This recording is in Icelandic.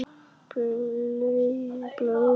Blöðin falla fljótt af.